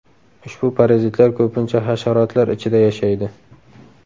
Ushbu parazitlar ko‘pincha hasharotlar ichida yashaydi.